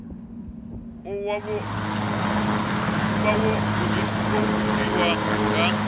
u vha wo gudiwa nga